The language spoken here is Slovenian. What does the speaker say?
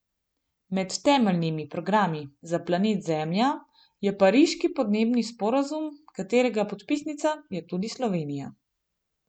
Med temeljnimi programi za planet Zemlja je pariški podnebni sporazum, katerega podpisnica je tudi Slovenija.